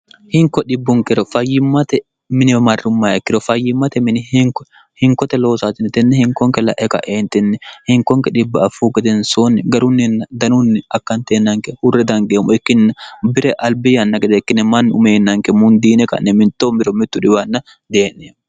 hinko dhibbunkiro fayyimmate miniwe marrummayekkiro fayyimmate mini hinkote loosaatinitinne hinkonke la'e ka'eentinni hinkonke dhibbi affuu gedensoonni garunninna danunni akkanteennanke hurre dangeemmo ikkinni bire albi yanna gedeekkine manni umeennanke mundiine ka'ne mittoom biro mittu dhiwanna dee'nie